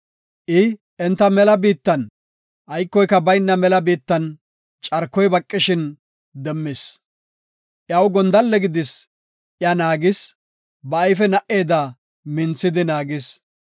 I enta mela biittan, aykoy bayna mela biittan, carkoy baqishin demmis. Iyaw gondalle gidis, iya naagis; ba ayfe na77eda minthidi naagis.